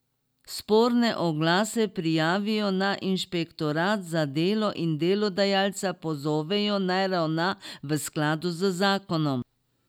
Sporne oglase prijavijo na inšpektorat za delo in delodajalca pozovejo, naj ravna v skladu z zakonom.